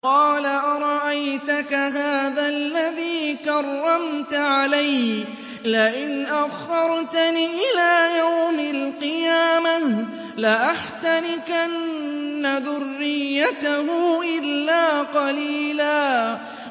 قَالَ أَرَأَيْتَكَ هَٰذَا الَّذِي كَرَّمْتَ عَلَيَّ لَئِنْ أَخَّرْتَنِ إِلَىٰ يَوْمِ الْقِيَامَةِ لَأَحْتَنِكَنَّ ذُرِّيَّتَهُ إِلَّا قَلِيلًا